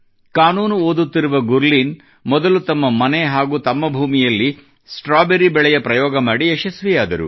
ಕಾನೂನು ಓದುತ್ತಿರುವ ಗುರ್ಲೀನ್ ಮೊದಲು ತಮ್ಮ ಮನೆ ಹಾಗೂ ತಮ್ಮ ಭೂಮಿಯಲ್ಲಿ ಸ್ಟ್ರಾಬೆರಿ ಬೆಳೆಯ ಪ್ರಯೋಗ ಮಾಡಿ ಯಶಸ್ವಿಯಾದರು